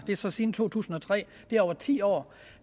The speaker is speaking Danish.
det er så siden to tusind og tre det er over ti år